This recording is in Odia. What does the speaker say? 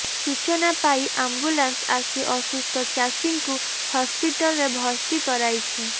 ସୂଚନା ପାଇ ଆମ୍ବୁଲାନ୍ସ ଆସି ଅସୁସ୍ଥ ଚାଷୀଙ୍କୁ ହସ୍ପିଟାଲରେ ଭର୍ତ୍ତି କରାଇଛି